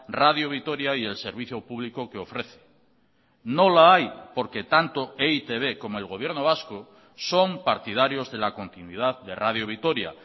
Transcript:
radio vitoria y el servicio público que ofrece no la hay porque tanto e i te be como el gobierno vasco son partidarios de la continuidad de radio vitoria